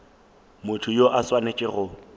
motho yo a swanetšego go